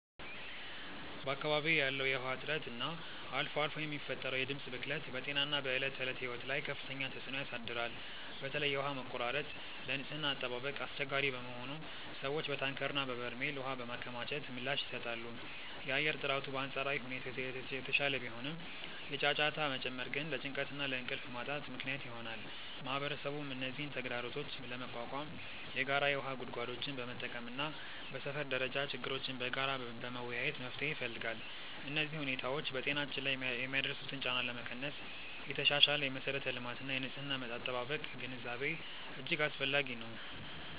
በአካባቢዬ ያለው የውሃ እጥረት እና አልፎ አልፎ የሚፈጠረው የድምፅ ብክለት በጤናና በዕለት ተዕለት ሕይወት ላይ ከፍተኛ ተጽዕኖ ያሳድራል። በተለይ የውሃ መቆራረጥ ለንጽህና አጠባበቅ አስቸጋሪ በመሆኑ ሰዎች በታንከርና በበርሜል ውሃ በማከማቸት ምላሽ ይሰጣሉ። የአየር ጥራቱ በአንጻራዊ ሁኔታ የተሻለ ቢሆንም፣ የጫጫታ መጨመር ግን ለጭንቀትና ለእንቅልፍ ማጣት ምክንያት ይሆናል። ማህበረሰቡም እነዚህን ተግዳሮቶች ለመቋቋም የጋራ የውሃ ጉድጓዶችን በመጠቀምና በሰፈር ደረጃ ችግሮችን በጋራ በመወያየት መፍትሄ ይፈልጋል። እነዚህ ሁኔታዎች በጤናችን ላይ የሚያደርሱትን ጫና ለመቀነስ የተሻሻለ የመሠረተ ልማትና የንጽህና አጠባበቅ ግንዛቤ እጅግ አስፈላጊ ነው።